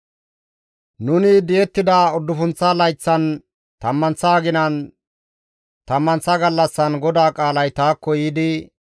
Nuni di7ettida uddufunththa layththan, tammanththa aginan, tammanththa gallassan GODAA qaalay taakko yiidi,